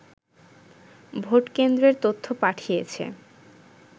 ভোটকেন্দ্রের তথ্য পাঠিয়েছে